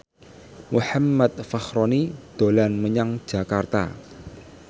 Muhammad Fachroni dolan menyang Jakarta